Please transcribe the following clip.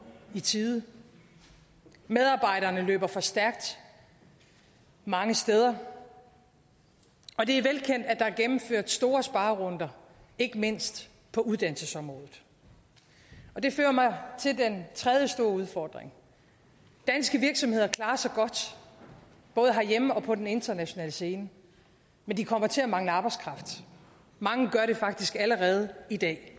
i tide medarbejderne løber for stærkt mange steder og det er velkendt at gennemført store sparerunder ikke mindst på uddannelsesområdet det fører mig til den tredje store udfordring danske virksomheder klarer sig godt både herhjemme og på den internationale scene men de kommer til at mangle arbejdskraft mange gør det faktisk allerede i dag